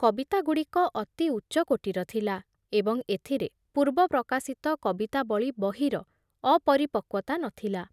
କବିତାଗୁଡ଼ିକ ଅତି ଉଚ୍ଚକୋଟୀର ଥିଲା ଏବଂ ଏଥୁରେ ପୂର୍ବ ପ୍ରକାଶିତ କବିତାବଳୀ ବହିର ଅପରିପକ୍ବତା ନଥିଲା ।